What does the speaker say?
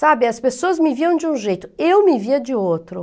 Sabe, as pessoas me viam de um jeito, eu me via de outro.